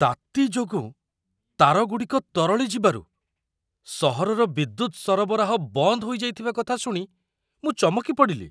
ତାତି ଯୋଗୁଁ ତାରଗୁଡ଼ିକ ତରଳି ଯିବାରୁ ସହରର ବିଦ୍ୟୁତ ସରବରାହ ବନ୍ଦ ହୋଇଯାଇଥିବା କଥା ଶୁଣି ମୁଁ ଚମକି ପଡ଼ିଲି!